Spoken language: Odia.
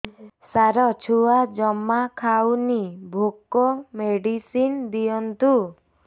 ସାର ଛୁଆ ଜମା ଖାଉନି ଭୋକ ମେଡିସିନ ଦିଅନ୍ତୁ